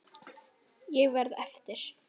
Ég verð eftir.